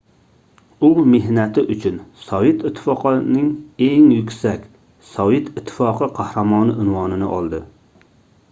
u mehnati uchun sovet ittifoqining eng yuksak - sovet ittifoqi qahramoni unvonini oldi